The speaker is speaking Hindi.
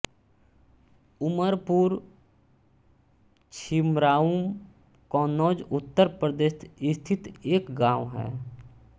उमर पुर छिबरामऊ कन्नौज उत्तर प्रदेश स्थित एक गाँव है